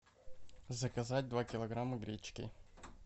заказать два килограмма гречки